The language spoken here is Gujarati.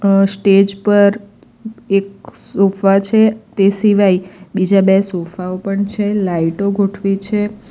અઅ સ્ટેજ પર એક સોફા છે તે સિવાય બીજા બે સોફાઓ પણ છે લાઈટો ગોઠવી છે.